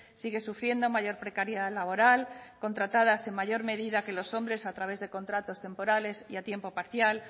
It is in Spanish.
sigue sufriendo mayor precariedad laboral contratadas en mayor medida que los hombres a través de contratos temporales y a tiempo parcial